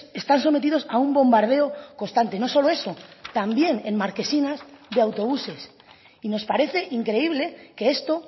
están sometidos a un bombardeo constante no solo eso también en marquesinas de autobuses y nos parece increíble que esto